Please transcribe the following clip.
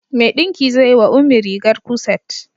Mai ɗinki zai yi wa Ummi rigar kuset.